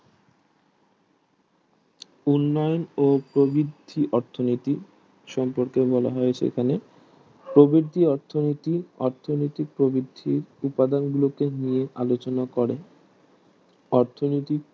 উন্নয়ন ও প্রভিতি অর্থনীতি সম্পর্কে বলা হয়েছে এখানে প্রভিতি অর্থনীতি অর্থনীতি প্রভিতি উপাদান গুলোকে নিয়ে আলোচনা করে অর্থনীতি